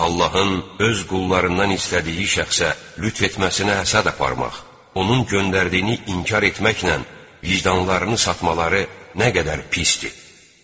Allahın öz qullarından istədiyi şəxsə lütf etməsinə həsəd aparmaq, onun göndərdiyini inkar etməklə vicdanlarını satmaları nə qədər pisdir.